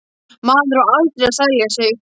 Maður á aldrei að selja sig.